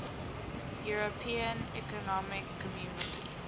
european economic community